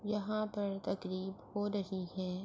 یہاں پر تکریب ہو رہی ہے۔